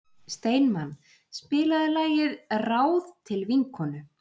Steinmann, spilaðu lagið „Ráð til vinkonu“.